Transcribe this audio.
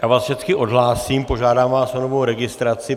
Já vás všecky odhlásím, požádám vás o novou registraci.